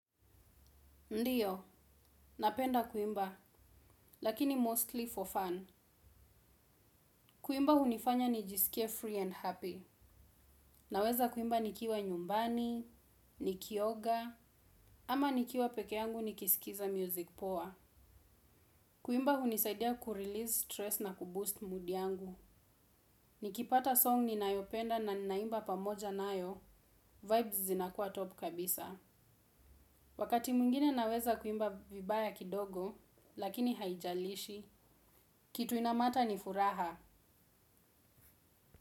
Ndio, napenda kuimba, lakini mostly for fun. Kuimba hunifanya nijisikie free and happy. Naweza kuimba nikiwa nyumbani, nikioga, ama nikiwa peke yangu nikisikiza music poa. Kuimba hunisaidia kurelease stress na kuboost mood yangu. Nikipata song ninayopenda na ninaimba pamoja nayo, vibes zinakuwa top kabisa. Wakati mwingine naweza kuimba vibaya kidogo, lakini haijalishi. Kitu inamatter ni furaha.